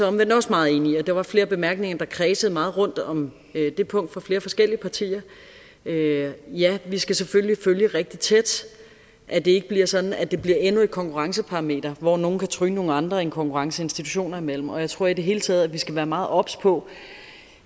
omvendt også meget enig i der var flere bemærkninger der kredsede meget rundt om det punkt fra flere forskellige partier ja ja vi skal selvfølgelig følge rigtig tæt at det ikke bliver sådan at det bliver endnu et konkurrenceparameter hvor nogle kan tryne nogle andre i en konkurrence institutioner imellem jeg tror i det hele taget at vi skal være meget obs på